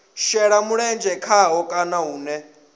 shela mulenzhe khaho kana hune